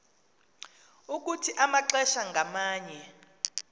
ukuthi amaxesha ngamanye